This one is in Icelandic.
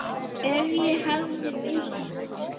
Ef ég hefði vitað.